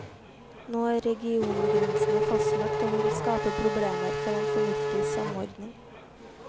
Nå er regiongrensene fastlagt, og det vil skape problemer for en fornuftig samordning.